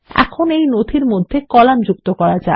এখন এই ডকুমেন্টর মধ্যে কলাম যুক্ত করা যাক